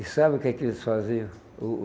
E sabe o que que eles faziam? O o